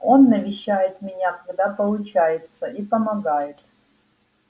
он навещает меня когда получается и помогает